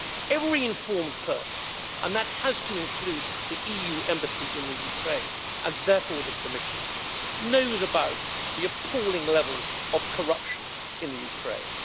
Every informed person and that has to include the EU embassy in Ukraine, and therefore the Commissioner knows about the appalling level of corruption in Ukraine.